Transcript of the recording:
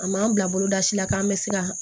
A m'an bila boloda si la k'an bɛ siran